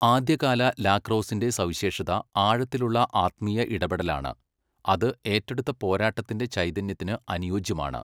ആദ്യകാല ലാക്രോസിന്റെ സവിശേഷത ആഴത്തിലുള്ള ആത്മീയ ഇടപെടലാണ്, അത് ഏറ്റെടുത്ത പോരാട്ടത്തിന്റെ ചൈതന്യത്തിന് അനുയോജ്യമാണ്.